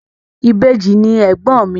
Ìbejì ni ègbọ́n mi.